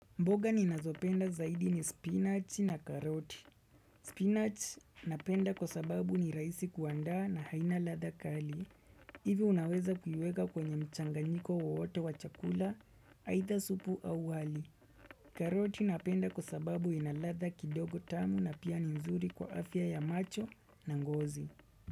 Mboga ni nazopenda zaidi ni spinach na karoti. Spinach napenda kwa sababu ni rahisi kuandaa na haina ladha kali. Ivi unaweza kuiweka kwenye mchanganyiko wowote wa chakula, aidha supu au wali. Karoti napenda kwa sababu inaladha kidogo tamu na pia ni nzuri kwa afya ya macho na ngozi.